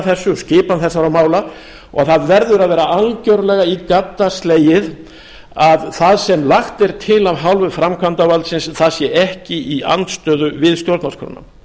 um skipan þessara mála og það verður að vera algjörlega í gadda slegið að það sem lagt er til af hálfu framkvæmdarvaldsins sé ekki í andstöðu við stjórnarskrána